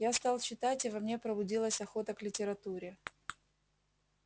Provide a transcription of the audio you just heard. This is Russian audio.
я стал читать и во мне пробудилась охота к литературе